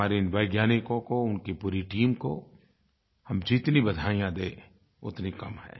हमारे इन वैज्ञानिकों को उनकी पूरी टीम को हम जितनी बधाइयाँ दें उतनी कम हैं